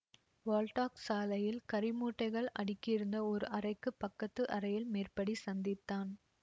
wall tax சாலையில் கரிமூட்டைகள் அடுக்கியிருந்த ஓர் அறைக்குப் பக்கத்து அறையில் மேற்படி சந்தித்தான்